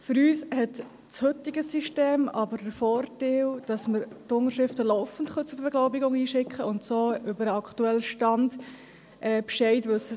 Für uns hat das heutige System jedoch den Vorteil, dass wir die Unterschriften laufend zur Beglaubigung einschicken können und so über den aktuellen Stand Bescheid wissen.